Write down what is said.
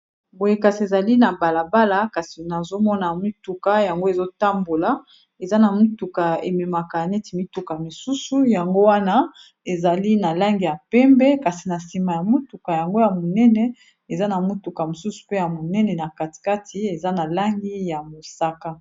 Boye kasi ezali na balabala kasi nazomona mituka yango ezotambola eza na mituka ememaka neti mituka mosusu yango wana ezali na langi ya pembe kasi na nsima ya motuka yango ya monene eza na motuka mosusu mpe ya monene na katikati eza na langi ya mosaka.